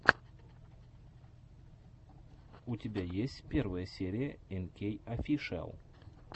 у тебя есть первая серия энкей офишиал